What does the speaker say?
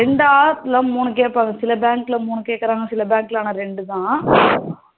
இல்ல மூனு கேப்பாங்க சில bank ல மூணு கேக்குறாங்க ஆனா சில பேங்க்ல ரெண்டு தான்